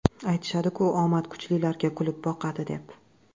Aytishadi-ku omad kuchlilarga kulib boqadi, deb.